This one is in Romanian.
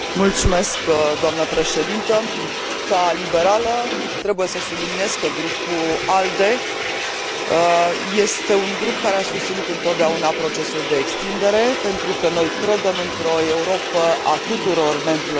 Ca liberală, trebuie să subliniez că Grupul ALDE este un grup care a susținut întotdeauna procesul de extindere, pentru că noi credem într o Europă a tuturor membrilor ei, o Europă puternică și unită.